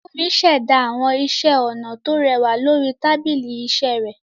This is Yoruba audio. Fúnmi ṣẹ̀dá àwọn iṣẹ́ ọnà tó rẹwà lórí tábìlì iṣẹ́ rẹ̀.